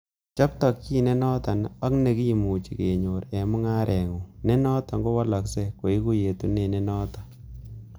Chob tokyin nenoton ak ne nekimuche kenyor en mungarengung, ne noton kowoloksei koigu yetunet ne noton.